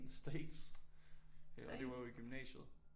State og det var jo i gymnasiet